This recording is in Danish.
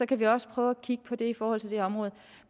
kan vi også prøve at kigge på det i forhold til det her område